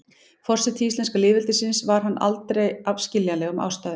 forseti íslenska lýðveldisins var hann aldrei af skiljanlegum ástæðum